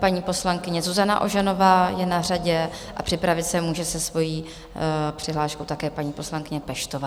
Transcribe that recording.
Paní poslankyně Zuzana Ožanová je na řadě a připravit se může se svojí přihláškou také paní poslankyně Peštová.